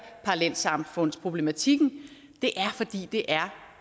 parallelsamfundsproblematikken det er fordi det er